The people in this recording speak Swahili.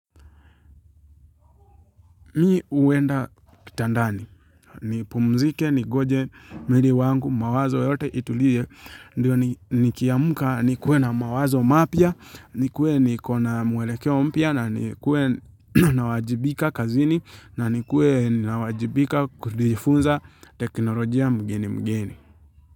Mimi huenda kitandani, nipumzike, ningoje mwili wangu, mawazo yote itulie, ndio nikiamka, nikuwe na mawazo mapya, nikuwe niko na mwelekeo mpya, na nikuwe nawajibika kazini, na nikuwe nawajibika kujifunza teknolojia mgeni mgeni.